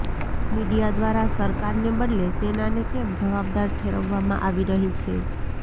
media દ્વારા સરકારને બદલે સેનાને કેમ જવાબદાર ઠેરવવામાં આવી રહી છે